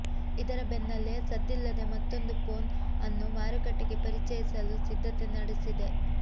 ಇದರ ಬೆನ್ನಲೇ ಸದ್ದಿಲ್ಲದೇ ಮತ್ತೊಂದು ಫೋನ್ ಅನ್ನು ಮಾರುಕಟ್ಟೆಗೆ ಪರಿಚಯಿಸಲು ಸಿದ್ಧತೆ ನಡೆಸಿದೆ